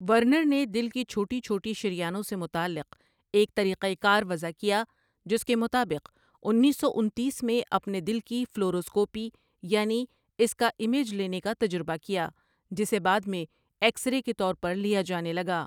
Werner نے دل کی چھوٹی چھوٹی شریانوں سے متعلق ایک طریقہ کار وضح کیا جس کے مطابق انیس سو انتیس میں اپنے دل کی فلوروسکوپی یعنی اس کا امیج لینے کا تجربہ کیا جسے بعد میں ایکسرے کے طور پر لیا جانے لگا ۔